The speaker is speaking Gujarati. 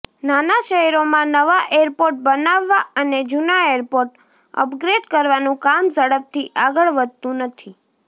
નાના શહેરોમાં નવા એરપોર્ટ બનાવવા અને જૂના એરપોર્ટ અપગ્રેડ કરવાનું કામ ઝડપથી આગળ વધતું નથી